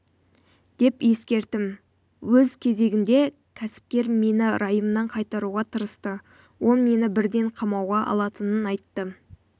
деп ескертім өз кезегінде кәсіпкер мені райымнан қайтаруға тырысты ол мені бірден қамауға алатынын айтты